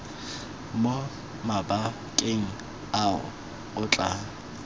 mo mabakeng ao o tla